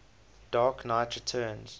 dark knight returns